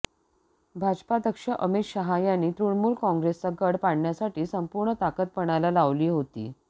भाजपाध्यक्ष अमित शहा यांनी तृणमूल काँग्रेसचा गड पाडण्यासाठी संपूर्ण ताकद पणाला लावली होती